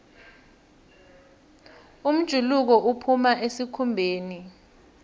umjuluko uphuma esikhumbeni